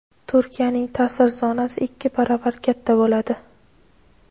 Turkiyaning ta’sir zonasi ikki baravar katta bo‘ladi.